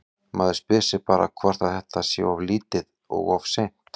Maður spyr sig bara hvort að þetta sé of lítið og of seint?